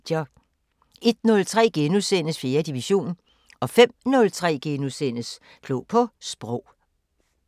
01:03: 4. division * 05:03: Klog på Sprog *